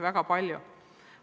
Väga palju.